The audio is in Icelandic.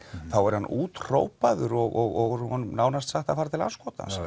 þá er hann úthrópaður og honum nánast sagt að fara til andskotans af